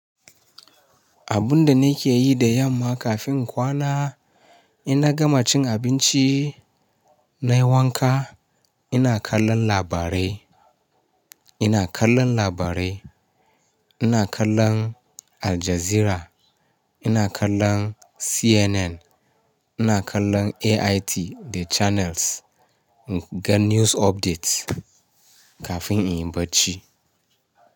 Abun da nake yi da yamma kafin kwana, ina gama cin abinci nai wanka, ina kallon labarai, ina kallon labarai, ina kallon Al Jazeera, ina kallon CNN, ina kallon AIT da Channels in ga news updates kafin in yi barci.